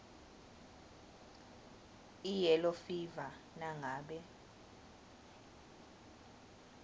iyellow fever nangabe